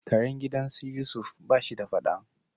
Karen gidan su Yusuf ba shi da fada.